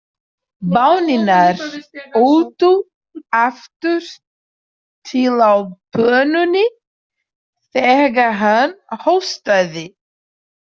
Baunirnar ultu aftur til á pönnunni þegar hann hóstaði.